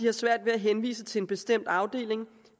har svært ved at henvise til en bestemt afdeling